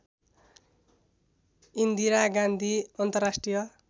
इन्दिरा गान्धी अन्तर्राष्ट्रिय